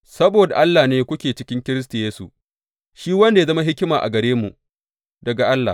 Saboda Allah ne kuke cikin Kiristi Yesu, shi wanda ya zama hikima a gare mu daga Allah.